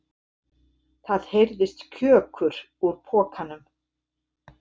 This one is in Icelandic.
Það heyrðist KJÖKUR úr pokanum!